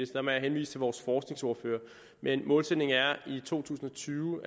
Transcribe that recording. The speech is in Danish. der må jeg henvise til vores forskningsordfører men målsætningen er at i to tusind og tyve